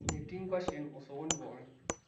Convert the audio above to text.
metii ngwasheni osokoni pookin